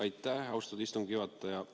Aitäh, austatud istungi juhataja!